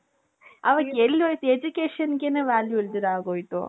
ಅವಾಗ ಎಲ್ಲಿ ಹೋಯ್ತು educationಗೆನೆ value ಇಲ್ದಿರಾ ಹಾಗೆ ಆಗೋಯ್ತು